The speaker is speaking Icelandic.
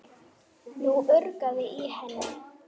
Nú urgaði í henni.